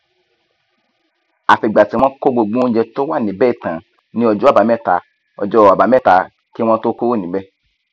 àfìgbà tí wọn kó gbogbo oúnjẹ tó wà níbẹ tán ní ọjọ àbámẹta ọjọ àbámẹta kí wọn tóó kúrò níbẹ